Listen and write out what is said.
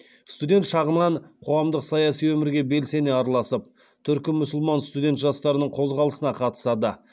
студент шағынан қоғамдық саяси өмірге белсене араласып түркі мұсылман студент жастарының қозғалысына қатысады